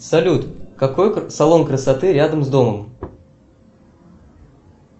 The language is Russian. салют какой салон красоты рядом с домом